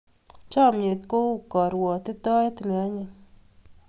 Chomnyet kou karwotitoet ne anyiny.